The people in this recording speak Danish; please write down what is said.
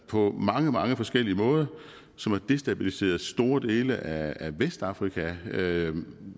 på mange mange forskellige måder som har destabiliseret store dele af vestafrika med